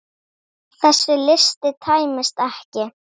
Þessi listi tæmist ekki.